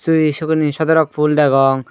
tui sigun hi sodorok pul degong.